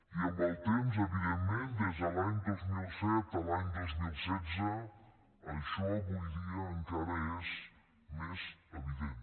i amb el temps evidentment des de l’any dos mil set a l’any dos mil setze això avui dia encara és més evident